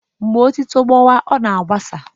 Mgbe etuto gbawa ọ na-agbasa